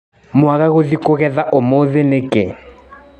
Mwaga gũthiĩ kũgetha ũmũthĩ nĩkĩ.